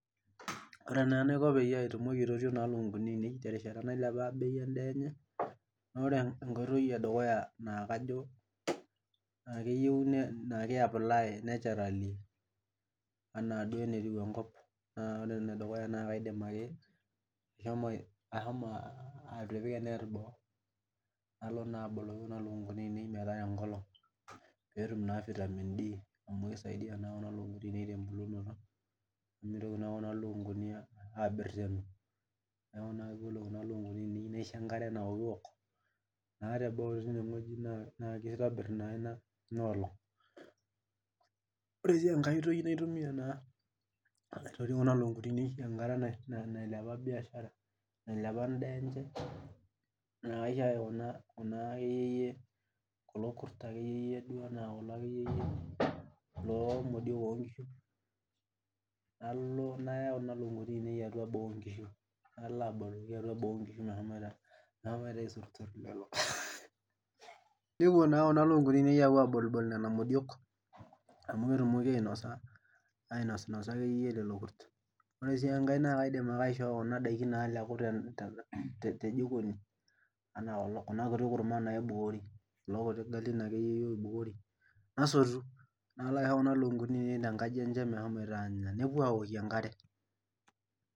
Ore naa enaiko peyie atumoki aitotio naa ilukunguni ainei terishata nailepa naa bei endaa enye naore enkoitoi edukuya naakajo naa keyieu naa ke apply naturally enaa duo enetiu enkop naore enedukuya naa kaidim ake ashomo ahomo atipika enet boo nalo naa aboloki kuna lukunguni ainei metara enkolong peetum naa vitamin D amu kisaidia naa kuna lukunguni ainei tembulunoto nemitoki naa kuna lukunguni uh abertenu niaku naa yiolo kuna lukunguni ainei kaisho enkare naokiwok naa teboo tine wueji naa kitobirr naa ina in olong ore sii enkae oitoi naitumia naa aitoti kuna lukunguni ainei enkata nae nailepa biashara nailepa endaa enche naa kaisho kuna kuna akeyie yie kulo kurt akeyie yie loo modiok onkishu nalo nayau kuna lukunguni ainei atua boo onkishu nalo aboooki ayua boo onkishu meshomoito uh aisurrsur lelo nepuo naa kuna lukunguni ainei aapuo abolibol nena modiok amu ketumoki ainosa ainosinosa akeyie lelo kurt ore sii enkae naa kaidim ake aishoo kuna daikin naaleku te jikoni anaa kulo kuna kuti kurman naibukori kulo kuti galin akeyie iyie oibukori nasotu nalo aiho kuna lukunguni ainei tenkaji enye mehomoito anya nepuo awokie enkare.